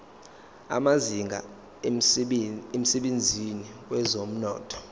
amazinga emsebenzini wezomnotho